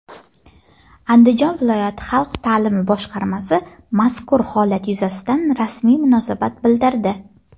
Andijon viloyati xalq ta’limi boshqarmasi mazkur holat yuzasidan rasmiy munosabat bildirdi.